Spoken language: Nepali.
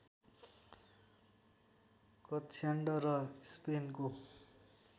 कक्ष्यान्ड र स्पेनको